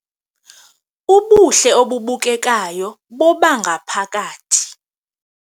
Ubuhle obubukekayo bobangaphakathi